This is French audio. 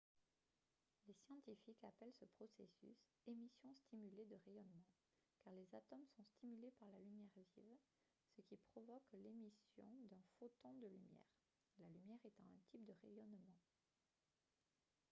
les scientifiques appellent ce processus « émission stimulée de rayonnement » car les atomes sont stimulés par la lumière vive ce qui provoque l’émission d’un photon de lumière la lumière étant un type de rayonnement